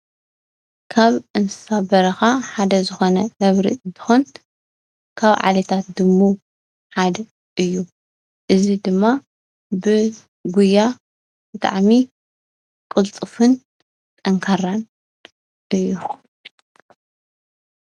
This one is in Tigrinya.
ካብ እንስሳ በረኻ ሓደ ዝኾነ ነብሪ እንትኾን ካብ ዓሌታት ድሙ ሓደ እዩ፡፡ እዚ ድማ ብጉያ ብጣዕሚ ቅልጡፍን ጠንካራን እዩ፡፡